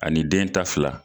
Ani den ta fila.